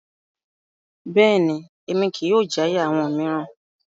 Bẹ́ẹ̀ni, Emi kii yóò jaya awọn miiran